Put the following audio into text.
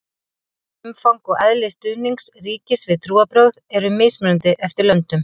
umfang og eðli stuðnings ríkis við trúarbrögð eru mismunandi eftir löndum